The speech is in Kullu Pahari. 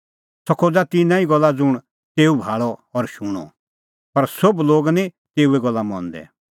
सह खोज़ा तिन्नां ई गल्ला ज़ुंण तेऊ भाल़अ और शूणअ पर सोभ लोग निं तेऊए गल्ला मंदै